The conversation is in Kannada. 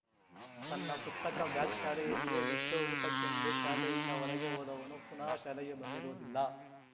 ತನ್ನ ಪುಸ್ತಕ ಬ್ಯಾಗ್‌ ಶಾಲೆಯಲ್ಲಿಯೇ ಬಿಟ್ಟು ಊಟಕ್ಕೆಂದು ಶಾಲೆಯಿಂದ ಹೊರಗೆ ಹೋದವನು ಪುನಃ ಶಾಲೆಗೆ ಬಂದಿರುವುದಿಲ್ಲ